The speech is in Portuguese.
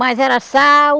Mas era sal,